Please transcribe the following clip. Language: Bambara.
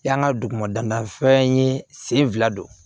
Yan ka duguma fɛn ye sen fila don